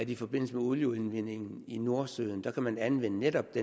i forbindelse med olieudvindingen i nordsøen kan anvende netop